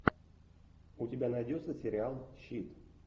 у тебя найдется сериал щит